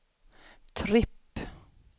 tripp